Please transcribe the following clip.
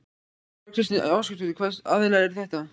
Þóra Kristín Ásgeirsdóttir: Hvaða aðilar eru þetta?